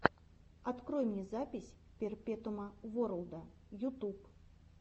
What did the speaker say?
открой мне запись перпетуума ворлда ютуб